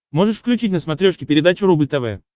можешь включить на смотрешке передачу рубль тв